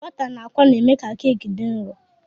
Bọta na àkwá na-eme ka keki dị nro.